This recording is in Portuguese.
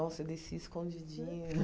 Nossa, eu desci escondidinha.